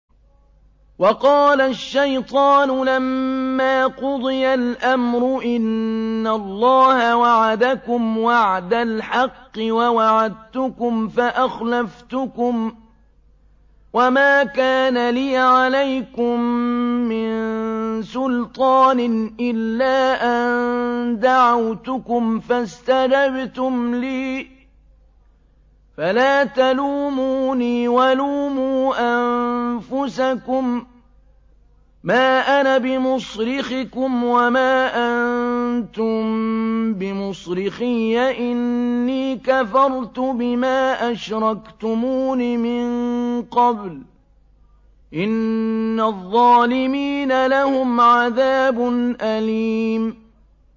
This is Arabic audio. وَقَالَ الشَّيْطَانُ لَمَّا قُضِيَ الْأَمْرُ إِنَّ اللَّهَ وَعَدَكُمْ وَعْدَ الْحَقِّ وَوَعَدتُّكُمْ فَأَخْلَفْتُكُمْ ۖ وَمَا كَانَ لِيَ عَلَيْكُم مِّن سُلْطَانٍ إِلَّا أَن دَعَوْتُكُمْ فَاسْتَجَبْتُمْ لِي ۖ فَلَا تَلُومُونِي وَلُومُوا أَنفُسَكُم ۖ مَّا أَنَا بِمُصْرِخِكُمْ وَمَا أَنتُم بِمُصْرِخِيَّ ۖ إِنِّي كَفَرْتُ بِمَا أَشْرَكْتُمُونِ مِن قَبْلُ ۗ إِنَّ الظَّالِمِينَ لَهُمْ عَذَابٌ أَلِيمٌ